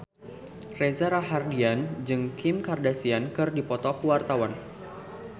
Reza Rahardian jeung Kim Kardashian keur dipoto ku wartawan